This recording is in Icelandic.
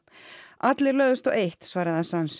allir lögðust á eitt svarar